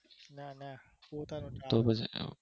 ના ના પોતાનું Travels નું